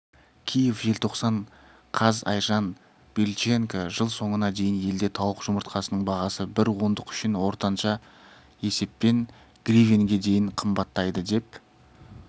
киев желтоқсан қаз айжан бильченко жыл соңына дейін елде тауық жұмыртқасының бағасы бір ондық үшін ортанша есеппен гривенге дейін қымбаттайды деп